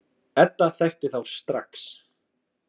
Edda þekkti þá strax.